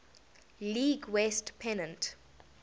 league west pennant